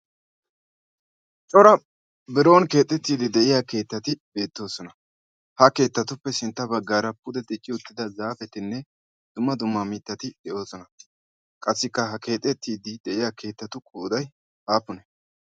cora biron keexettiiddi de'iya keettati beettoosona. ha keettatuppe sintta baggaara pude deci uttida zaafetinne dumma duma mittati de'oosona qassikka ha keexettiiddi de'iya keettatu koodai aappune?